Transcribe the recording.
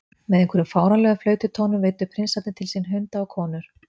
Með einhverjum fáránlegum flaututónum veiddu prinsarnir til sín hunda og konur.